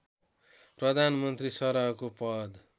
प्रधानमन्त्री सरहको पद